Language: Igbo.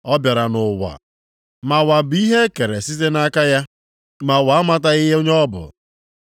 Ọ bịara nʼụwa, ma ụwa bụ ihe e kere site nʼaka ya, ma ụwa amataghị onye ọ bụ.